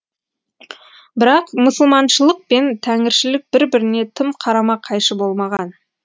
бірақ мұсылманшылық пен тәңіршілік бір біріне тым қарама қайшы болмаған